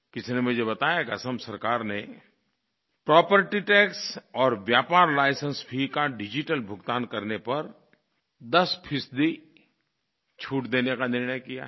किसी ने मुझे बताया की असम सरकार ने प्रॉपर्टी टैक्स और व्यापार लाइसेंस फी का डिजिटल भुगतान करने पर 10 फ़ीसदी छूट देने का निर्णय किया है